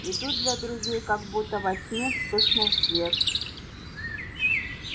и тут для друзей как будто во тьме вспыхнул свет